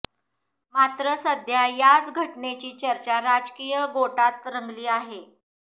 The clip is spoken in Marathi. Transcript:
मात्र सध्या याच घटनेची चर्चा राजकीय गोटात रंगली आहे